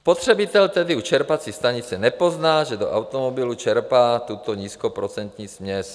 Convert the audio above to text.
Spotřebitel tedy u čerpací stanice nepozná, že do automobilu čerpá tuto nízkoprocentní směs.